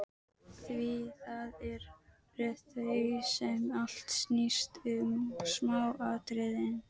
Því það eru þau sem allt snýst um: smáatriðin.